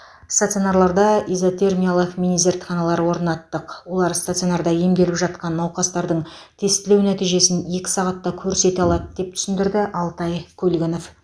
стационарларда изотермиялық мини зертханалар орнаттық олар стационарда емделіп жатқан науқастардың тестілеу нәтижесін екі сағатта көрсете алады деп түсіндірді алтай көлгінов